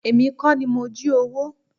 Èmi kọ́ ni mo jí owó.